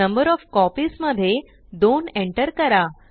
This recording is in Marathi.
नंबर ओएफ कॉपीज मध्ये 2 एंटर करा